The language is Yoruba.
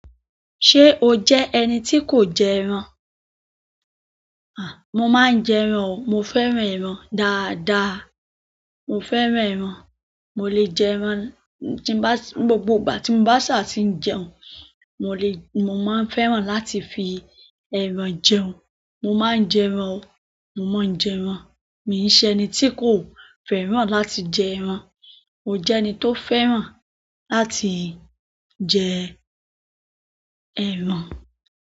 Ṣé o jẹ́ ẹni tí kò jẹ ẹran? À mo máa n jẹ ẹran o. Mo fẹ́ràn ẹran dáadáa. Mo fẹ́ràn ẹran. Mo lè jẹ ẹran tí n bá, gbogbo ìgbà tí n bá ṣà ti ń jẹun. Mo lè, mo máa ń fẹ́ràn láti fi ẹran jẹun. Mo máa ń jẹ ẹran o. Mo máa ń jẹ ẹran. Mi ń ṣe ẹni tí kò fẹ́ràn láti jẹ ẹran. O jẹ́ ẹni tó fẹ́ràn láti jẹ ẹran.